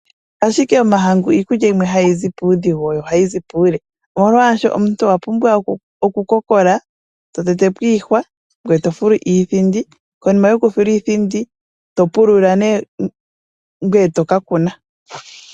Ashike omahangu iikulya yimwe hayizi puudhigu yo ohayizi puule, omolwashoka omuntu owa pumbwa okukokola to tetepo iihwa, ngwee to fulu iithindi konima yoku fula iithindi, to pulula nee ngwee toka kuna.